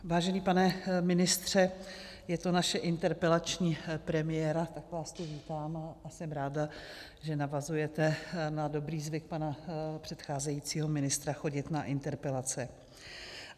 Vážený pane ministře, je to naše interpelační premiéra, tak vás tu vítám a jsem ráda, že navazujete na dobrý zvyk pana předcházejícího ministra chodit na interpelace.